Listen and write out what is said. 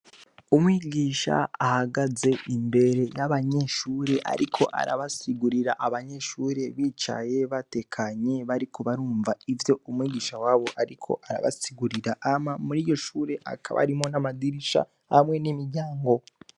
Umwigisha ahagaze imbere y'abanyeshure ariko arabasigurira, abanyeshure bicaye batekanye bariko barumva ivyo umwigisha wabo ariko arabasigurira. Hama muri iryo shure hakaba harimwo amadirisha n'imiryango.